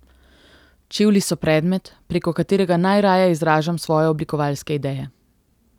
Čevlji so predmet, preko katerega najraje izražam svoje oblikovalske ideje.